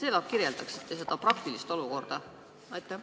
Kas te kirjeldaksite seda praktilist olukorda?